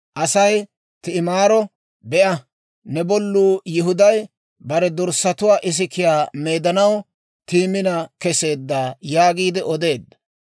Aasi Ti'imaaro, «Be'a; ne bolluu Yihuday, bare dorssatuwaa isikiyaa meedanaw Timina kesseedda» yaagiide odeedda.